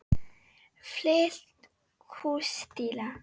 Fullt hús stiga.